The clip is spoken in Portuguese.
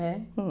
É?